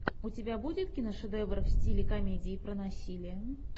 у тебя будет киношедевр в стиле комедии про насилие